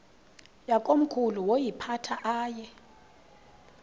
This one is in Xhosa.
yakomkhulu woyiphatha aye